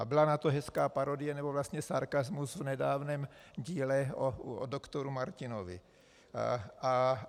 A byla na to hezká parodie nebo vlastně sarkasmus v nedávném díle o doktoru Martinovi.